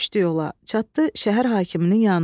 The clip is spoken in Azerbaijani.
Çatdı şəhər hakiminin yanına.